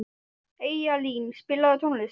Eyjalín, spilaðu tónlist.